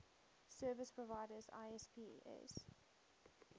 service providers isps